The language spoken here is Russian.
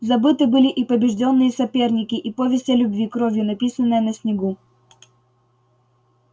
забыты были и побеждённые соперники и повесть о любви кровью написанная на снегу